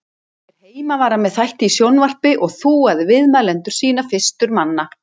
Hér heima var hann með þætti í sjónvarpi og þúaði viðmælendur sína fyrstur manna.